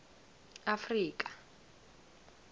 afrika